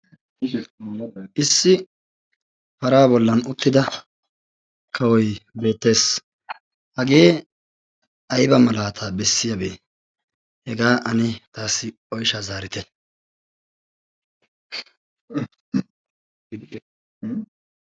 issi para bollan uttida kawoi beettees. hagee aiba malaataa bessiyaabee? hegaa ani taassi oisha zaarite.